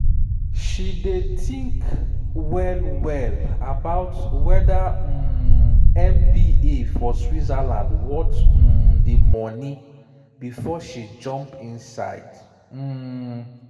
she dey think well-well about wether um mba for switzerland worth um the money before she jump inside. um